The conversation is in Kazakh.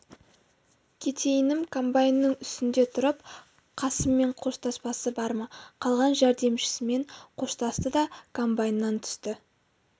кетейінім комбайнның үстінде тұрып қасыммен қоштаспасы бар ма қалған жәрдемшісімен қоштасты да комбайннан түсті